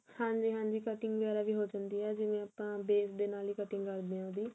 ਹਾਂਜੀ ਹਾਂਜੀ cutting ਵਗਿਆਰਾ ਵੀ ਹੋ ਜਾਂਦੀ ਏ ਜਿਵੇਂ ਆਪਾਂ base ਦੇ ਨਾਲ ਹੀ cutting ਕਰਦੇ ਹਾਂ ਉਹਦੀ